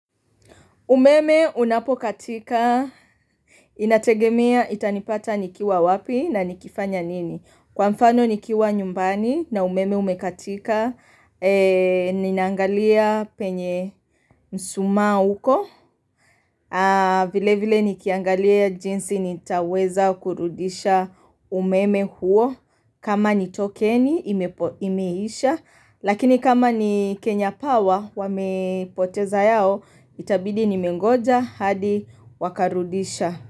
Umeme unapokatika inategemea itanipata nikiwa wapi na nikifanya nini Kwa mfano nikiwa nyumbani na umeme umekatika Ninaangalia penye mshumaa uko vile vile nikiangalia jinsi nitaweza kurudisha umeme huo kama ni tokeni imepo imeisha Lakini kama ni Kenya Power wamepoteza yao Itabidi nimengoja hadi wakarudisha.